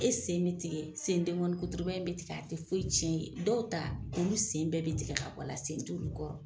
E sen be tigɛ, sen deŋɔnikuturuba in be tig'a te foyi tiɲɛ i ye. Dɔw ta olu sen bɛɛ be tigɛ ka bɔ la, sen t'olu kɔrɔ.